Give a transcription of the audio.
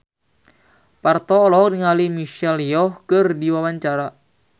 Parto olohok ningali Michelle Yeoh keur diwawancara